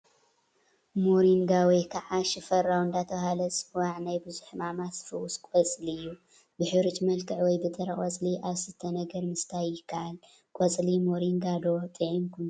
ሞሪንጋ ወይ ከዓ ሽፈራው እንዳተባህለ ዝፅዋዕ ናይ ብዙሕ ሕማማት ዝፍውስ ቆፅሊ እዩ፡፡ ብሕሩጭ መልክዕ ወይ ብጥረ ቆፅሊ ኣብ ዝስተ ነገር ምስታይ የካኣል፡፡ ቆፅሊ ሞሪንጋ ዶ ጥዒምኩም ትፈልጡ?